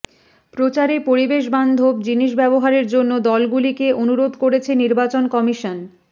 প্রচারে পরিবেশবান্ধব জিনিস ব্যবহারের জন্য দলগুলিকে অনুরোধ করেছে নির্বাচন কমিশন